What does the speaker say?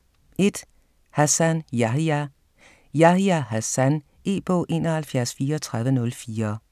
1. Hassan, Yahya: Yahya Hassan E-bog 713404